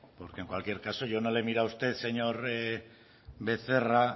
porque en cualquier caso yo no le he mirado a usted señor becerra